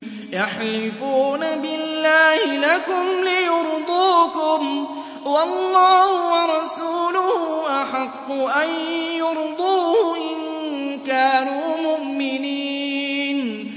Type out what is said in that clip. يَحْلِفُونَ بِاللَّهِ لَكُمْ لِيُرْضُوكُمْ وَاللَّهُ وَرَسُولُهُ أَحَقُّ أَن يُرْضُوهُ إِن كَانُوا مُؤْمِنِينَ